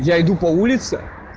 я иду по улице